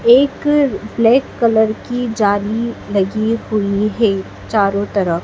एक black colour की जाली लगे हुई है चारो तरफ--